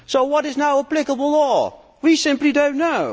So what is now applicable law? We simply do not know.